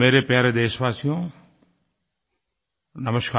मेरे प्यारे देशवासियो नमस्कार